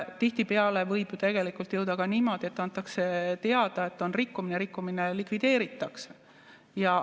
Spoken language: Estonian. Tihtipeale võib ju tegelikult olla ka niimoodi, et antakse teada, et on rikkumine, ja rikkumine likvideeritakse.